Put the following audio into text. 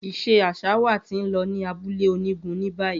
Iṣe aṣa wa ti n lọ ni abule onigun ni bayi.